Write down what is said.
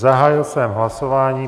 Zahájil jsem hlasování.